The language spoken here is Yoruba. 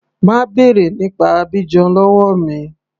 Má bèrè nípa Abidjan lọ́wọ́ mi.